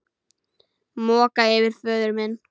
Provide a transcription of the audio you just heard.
Moka yfir föður minn.